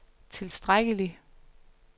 tilstrækkelig